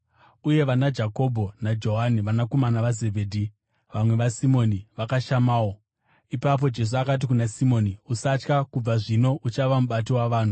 uye vanaJakobho naJohani, vanakomana vaZebhedhi, vamwe vaSimoni, vakashamawo. Ipapo Jesu akati kuna Simoni, “Usatya; kubva zvino uchava mubati wavanhu.”